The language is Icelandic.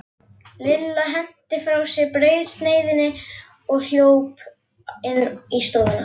Lilla henti frá sér brauðsneiðinni og hljóp inn í stofu.